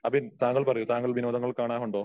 അബിൻ താങ്കൾ പറയൂ താങ്കൾ വിനോദങ്ങൾ കാണാറുണ്ടോ?